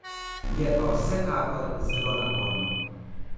Je pa vsekakor zelo naporno.